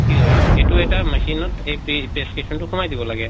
কি হয় এইটো এটা machine এই পে prescription টো সোমাই দিব লাগে